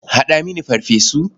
Haɗa mini farfesu.